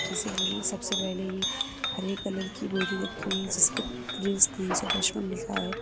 जैसे ये सबसे पहले ये हरे कलर की बोरी रखी गई है जिसपे प्राइस तीन सौ पचपन लिखा है।